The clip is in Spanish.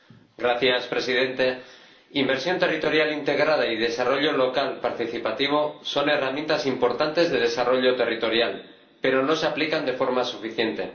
Señor Presidente, inversión territorial integrada y desarrollo local participativo son herramientas importantes de desarrollo territorial, pero no se aplican de forma suficiente.